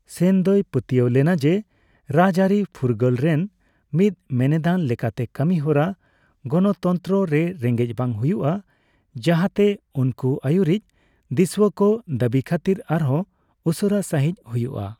ᱥᱮᱱ ᱫᱚᱭ ᱯᱟᱛᱣᱟᱹᱣ ᱞᱮᱱᱟ ᱡᱮ ᱨᱟᱡᱽᱟᱹᱨᱤ ᱯᱷᱩᱨᱜᱟᱹᱞ ᱨᱮᱱ ᱢᱤᱫ ᱢᱮᱱᱮᱫᱟᱱ ᱞᱮᱠᱟᱛᱮ, ᱠᱟᱹᱢᱤ ᱦᱚᱨᱟ ᱜᱚᱱᱚᱛᱚᱱᱛᱨᱚ ᱨᱮ ᱨᱮᱸᱜᱮᱡᱽ ᱵᱟᱝ ᱦᱩᱭᱩᱜᱼᱟ ᱡᱟᱸᱦᱟᱛᱮ ᱩᱱᱠᱩ ᱟᱹᱭᱩᱨᱤᱡ ᱫᱤᱥᱣᱟᱹ ᱠᱚ ᱫᱟᱹᱵᱤ ᱠᱷᱟᱹᱛᱤᱨ ᱟᱨᱦᱚᱸ ᱩᱥᱟᱹᱨᱟ ᱥᱟᱹᱦᱤᱡ ᱦᱩᱭᱩᱜᱼᱟ ᱾